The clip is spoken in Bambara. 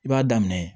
I b'a daminɛ